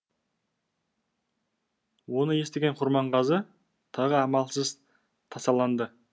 оны естіген құрманғазы тағы амалсыз тасаланды